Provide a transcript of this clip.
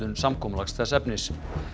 samkomulags þess efnis